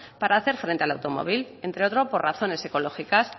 para hacer frente al automóvil entre otro por razones ecológicas